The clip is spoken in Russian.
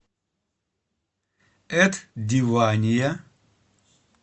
эд дивания